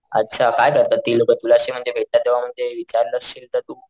अच्छा काय करतात ती लोक तुला अशी म्हणजे भेटतात तेव्हा म्हणजे विचारल असशील तर तू,